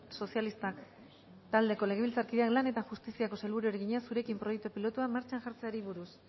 sozialistak taldeko legebiltzarkideak lan eta justiziako sailburuari egina zurekin proiektu pilotua martxan jartzeari buruz